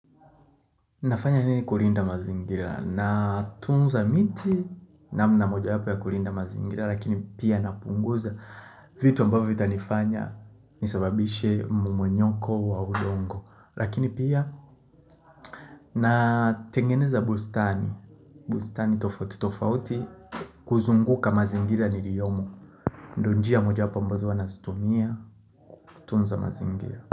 Nafanya nini kulinda mazingira? Natunza miti namna mojawapo ya kulinda mazingira lakini pia napunguza vitu ambavyo vitanifanya nisababishe mmonyoko wa udongo lakini pia natengeneza bustani, bustani tofauti tofauti kuzunguka mazingira niliyomo ndo njia mojawapo ambazo wanazitumia kutunza mazingira.